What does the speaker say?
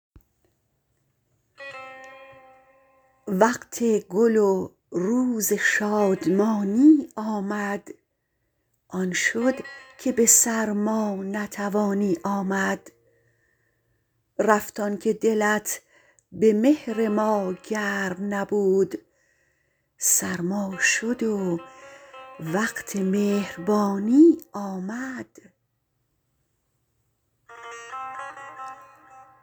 وقت گل و روز شادمانی آمد آن شد که به سرما نتوانی آمد رفت آنکه دلت به مهر ما گرم نبود سرما شد و وقت مهربانی آمد